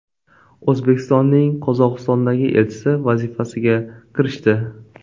O‘zbekistonning Qozog‘istondagi elchisi vazifasiga kirishdi.